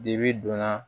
Dibi donna